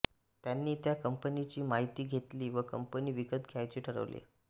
त्यांनी त्या कंपनीची माहिती घेतली व कंपनी विकत घ्यायचे ठरवले